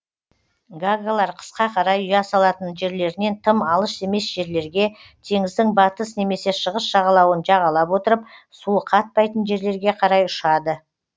гагалар қысқа қарай ұя салатын жерлерінен тым алыс емес жерлерге теңіздің батыс немесе шығыс жағалауын жағалап отырып суы қатпайтын жерлерге қарай ұшады